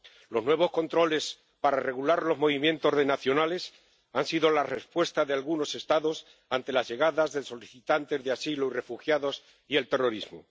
Los nuevos controles para regular los movimientos de nacionales han sido la respuesta de algunos Estados ante la llegada de solicitantes de asilo y refugiados y el terrorismo.